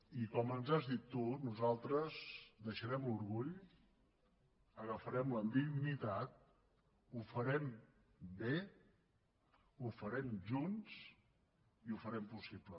i com ens has dit tu nosaltres deixarem l’orgull agafarem la dignitat ho farem bé ho farem junts i ho farem possible